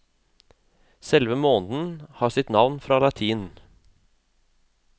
Selve måneden har sitt navn fra latin.